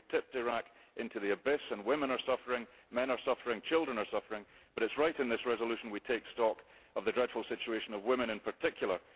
We have tipped Iraq into the abyss and women are suffering, men are suffering, children are suffering, but it is right that in this resolution we take stock of the dreadful situation of women in particular.